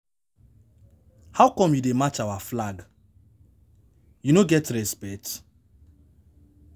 How come you dey match our flag? You no get respect